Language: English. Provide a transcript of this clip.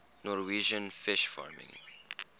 norwegian fish farming